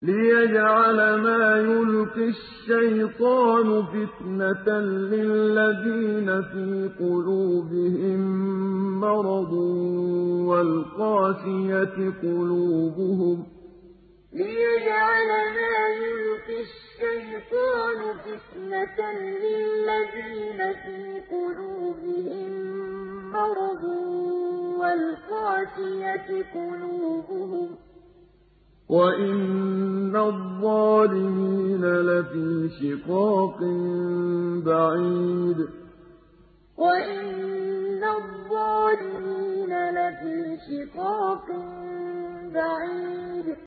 لِّيَجْعَلَ مَا يُلْقِي الشَّيْطَانُ فِتْنَةً لِّلَّذِينَ فِي قُلُوبِهِم مَّرَضٌ وَالْقَاسِيَةِ قُلُوبُهُمْ ۗ وَإِنَّ الظَّالِمِينَ لَفِي شِقَاقٍ بَعِيدٍ لِّيَجْعَلَ مَا يُلْقِي الشَّيْطَانُ فِتْنَةً لِّلَّذِينَ فِي قُلُوبِهِم مَّرَضٌ وَالْقَاسِيَةِ قُلُوبُهُمْ ۗ وَإِنَّ الظَّالِمِينَ لَفِي شِقَاقٍ بَعِيدٍ